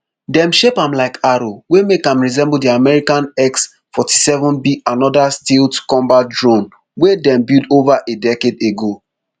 dem shape am like arrow wey make am resemble di american xforty-sevenb anoda stealth combat drome wey dem build ova a decade ago